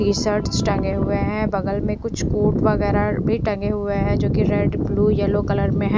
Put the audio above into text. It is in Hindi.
टी शर्ट्स टंगे हुए हैं बगल में कुछ कोट वगैरह भी टंगे हुए हैं जो कि रेड ब्लू येलो कलर में हैं।